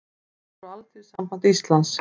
Þau voru Alþýðusamband Íslands